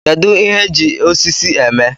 Kedu ihe eji osisi eme